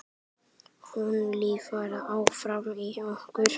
Hún lifir áfram í okkur.